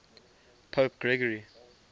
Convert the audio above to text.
pope gregory